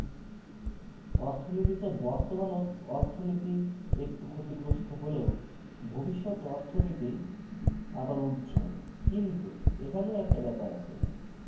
অর্থনীতিতে বর্তমান অর্থনীতি একটু ক্ষতিগ্রস্ত হলেও ভবিষ্যৎ অর্থনীতি আবার উজ্জ্বল কিন্তু এখানেও একটা ব্যাপার আছে ভাই,